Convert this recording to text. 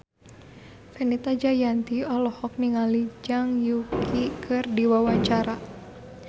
Fenita Jayanti olohok ningali Zhang Yuqi keur diwawancara